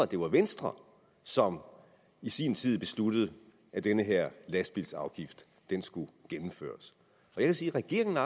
det var venstre som i sin tid besluttede at den her lastbilsafgift skulle gennemføres jeg vil sige at regeringen